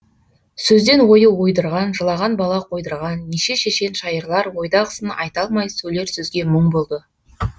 сөзден ою ойдырған жылаған бала қойдырған неше шешен шайырлар ойдағысын айта алмай сөйлер сөзге мұң болды